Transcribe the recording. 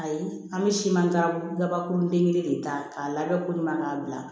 Ayi an bɛ siman daba kuru kelen de ta k'a labɛn kulina k'a bila